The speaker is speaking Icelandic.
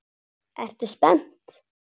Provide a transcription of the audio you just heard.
Ertu spennt?